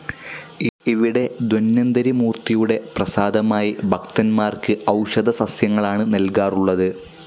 ഇവിടെ ധന്വന്തരി മൂർത്തിയുടെ പ്രസാദമായി ഭക്തന്മാർക്ക് ഒഷധസസ്യങ്ങളാണ് നൽകാറുള്ളത്.